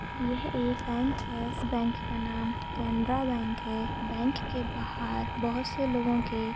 ये एक बँक है इस बँक का नाम कॅनेरा बँक है। बँक के बाहर बहुत से लोगों के--